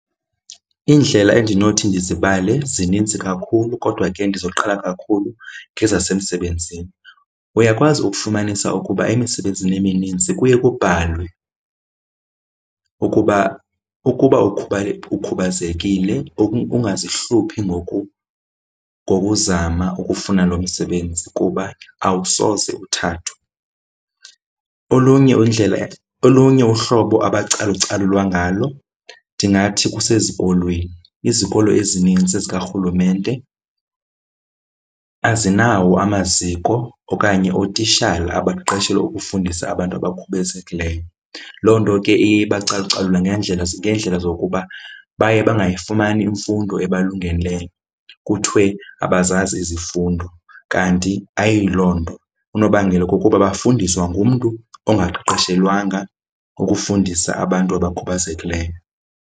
Iindlela endinothi ndizibale zininzi kakhulu kodwa ke ndizoqala kakhulu ngezasemsebenzini. Uyakwazi ukufumanisa ukuba emisebenzini eminintsi kuye kubhalwe ukuba ukuba ukhubazekile ungazihluphi ngokuzama ukufuna lo msebenzi kuba awusoze uthathwe. Olunye indlela olunye uhlobo abacalucalulwa ngalo ndingathi kusezikolweni, izikolo ezininzi zikarhulumente azinawo amaziko okanye ootishala abaqeqeshelwe ukufundisa abantu abakhubazekileyo. Loo nto ke iye ibacalucalule ngeendlela zokuba baye bangayifumani imfundo abalungeleyo kuthiwe abazazi izifundo, kanti ayilo nto. Unobangela kukuba bafundiswa ngumntu ongaqeqeshelwanga ukufundisa abantu abakhubazekileyo.